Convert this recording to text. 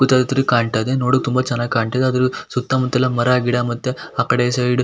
ಕಾಣ್ತಾ ಇದೆ ನೋಡೋಕ್ ತುಂಬ ಚೆನ್ನಾಗಿ ಕಾಣ್ತಾ ಇದೆ ಆದ್ರ ಸುತ್ತ ಮುತ್ತಲು ಮರ ಗಿಡ ಮತ್ತೆ--